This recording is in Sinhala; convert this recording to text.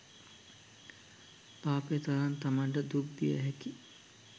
පාපය තරම් තමන්ට දුක් දියහැකි